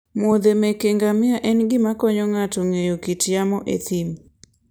muodhe meke ngamia en gima konyo ng'ato ng'eyo kit yamo e thim.